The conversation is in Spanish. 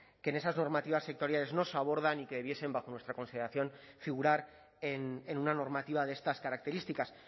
que en esas normativas sectoriales no se abordan y que debiesen bajo nuestra consideración figurar en una normativa de estas características